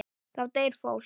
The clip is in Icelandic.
Þá deyr fólk.